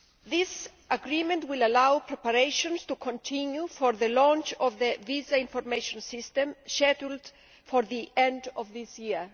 This agreement will allow preparations to continue for the launch of the Visa Information System scheduled for the end of this year.